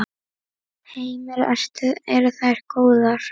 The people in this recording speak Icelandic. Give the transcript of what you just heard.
Heimir: Eru þær góðar?